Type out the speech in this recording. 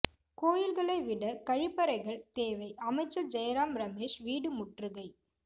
கோயில்களை விட கழிப்பறைகள் தேவை அமைச்சர் ஜெய்ராம் ரமேஷ் வீடு முற்றுகை